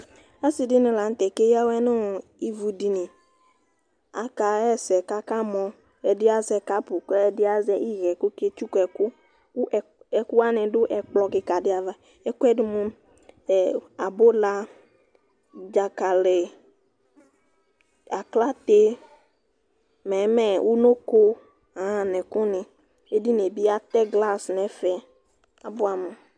Asiɖìŋí la ŋtɛ ake ya awʋɛ ŋu ivʋɖiŋi Aka ha ɛsɛ kʋ akamɔ Ɛɖi azɛ carpʋ kʋ ɛɖi azɛ ihɛ kʋ ɔke tsʋku ɛku Ɛku waŋi ɖu ɛkplɔ kìka ɖi ava Ɛkʋɛ ɖi mʋ abʋla, dzakali, aklate, mɛmɛ, ʋnɔko, ŋu ɛku ni Ɛɖìní bi atɛ glass ŋu ɛfɛ kʋ abʋ amu